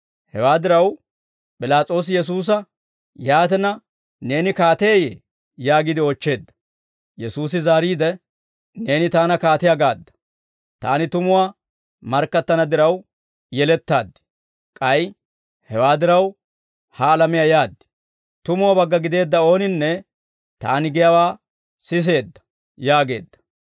Hewaa diraw, P'ilaas'oosi Yesuusa, «Yaatina, neeni kaateeyye?» yaagiide oochcheedda. Yesuusi zaariide, «Neeni Taana kaatiyaa gaadda. Taani tumuwaa markkattana diraw yelettaad; k'ay hewaa diraw, ha alamiyaa yaad. Tumuwaa bagga gideedda ooninne Taani giyaawaa siseedda» yaageedda.